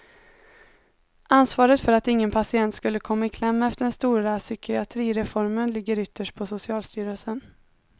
Ansvaret för att ingen patient skulle komma i kläm efter den stora psykiatrireformen ligger ytterst på socialstyrelsen.